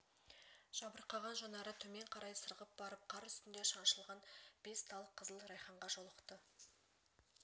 жабырқаған жанары төмен қарай сырғып барып қар үстінде шаншылған бес тал қызыл райханға жолықты